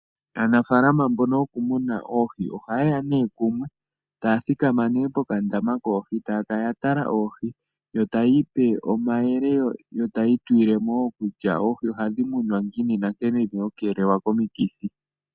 Aanafaalama mbono yokumuna oohi oha yeya nee kumwe taya thikama pokandama koohi taya kala yatala oohi yo tayiipe omayele yo tayiitulilemo wo kutya oohi ohadhi munwa ngiini nankene dhina okukeelelwa komikithi.